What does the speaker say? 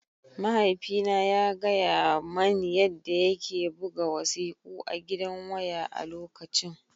Mahaifina ya gaya mani yadda yake buga wasiƙu a gidan waya a lokacin